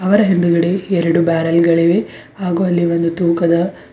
ಅವರ ಹಿಂದ್ಗಡೆ ಎರಡು ಬ್ಯಾರಲ್ ಗಳಿವೆ ಹಾಗು ಅಲ್ಲಿ ಒಂದು ತೂಕದ--